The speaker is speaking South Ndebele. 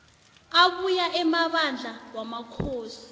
abuya emabandla wamakhosi